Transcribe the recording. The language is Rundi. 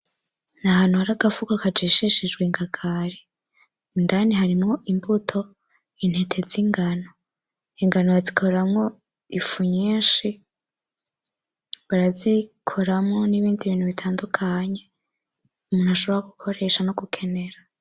Nahantu hari agafuka kageshesheje ingagari, indani harimwo imbuto, intete zingano. Ingano wazikoramo ifu nyinshi, barazikoramo nibindi bintu bitandukanye, umuntu ashobora gukoresha no gukenera.